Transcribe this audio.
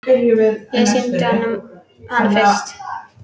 Ég sýndi honum hana fyrst.